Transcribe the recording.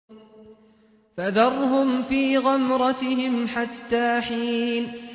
فَذَرْهُمْ فِي غَمْرَتِهِمْ حَتَّىٰ حِينٍ